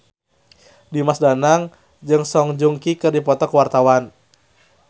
Dimas Danang jeung Song Joong Ki keur dipoto ku wartawan